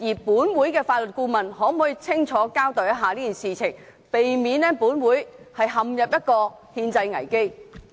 本會的法律顧問可否清楚交代此事，避免本會陷入憲制危機？